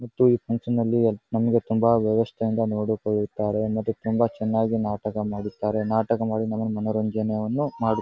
ಮತ್ತು ಈ ಫಂಕ್ಷನ್ ನಲ್ಲಿ ನಮ್ಗೆ ತುಂಬಾ ವ್ಯವಸ್ಥೆಯಿಂದ ನೋಡಿ ಕೊಳ್ಳುತ್ತಾರೆ ಮತ್ತು ತುಂಬಾ ಚೆನ್ನಾಗಿ ನಾಟಕ ಮಾಡುತ್ತಾರೆ ನಾಟಕ ಮಾಡಿ ನಮಗೆ ಮನರಂಜನೆಯನ್ನು ಮಾಡು --